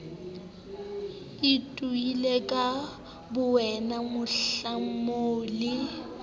itoile ka bowena mohlomong le